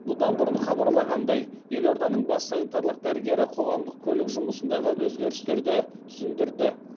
бұдан бұрын хабарланғандай елорданың бас санитарлық дәрігері қоғамдық көлік жұмысындағы өзгерістерді түсіндірді